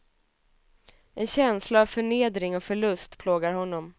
En känsla av förnedring och förlust plågar honom.